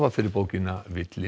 fyrir bókina